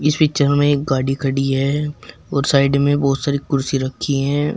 Picture में एक गाड़ी खड़ी है और साइड में बहुत सारी कुर्सी रखी है।